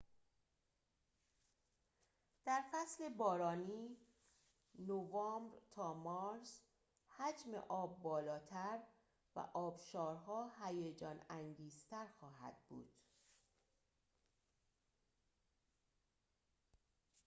در فصل بارانی نوامبر تا مارس، حجم آب بالاتر و آبشارها هیجان‌انگیزتر خواهند بود